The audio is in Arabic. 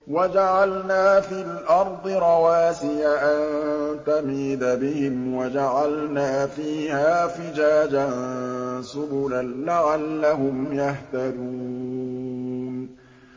وَجَعَلْنَا فِي الْأَرْضِ رَوَاسِيَ أَن تَمِيدَ بِهِمْ وَجَعَلْنَا فِيهَا فِجَاجًا سُبُلًا لَّعَلَّهُمْ يَهْتَدُونَ